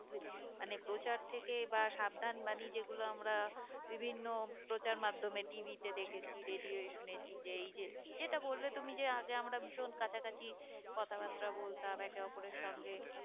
মানে প্রচার থেকে বা সাবধান বাণী যেগুলো আমরা বিভিন্ন প্রচার মাধ্যমে TV তে দেখেছি radio য়ে শুনেছি যে এই যে যেটা বললে তুমি যে আগে আমরা ভীষণ কাছা কাছি কথা বার্তা বলতাম একে ওপরের সঙ্গে